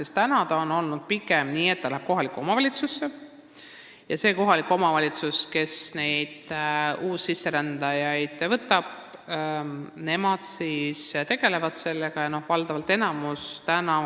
Seni on pigem nii olnud, et uussisserändajad lähevad kohalikku omavalitsusse, kes neid uussisserändajaid vastu võtab ja nendega tegeleb.